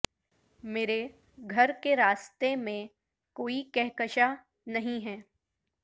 مرے گھر کے راستے میں کوئی کہکشاں نہیں ہے